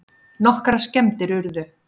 Nokkrar skemmdir urðu